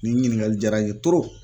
Nin ɲininkali jaara n ye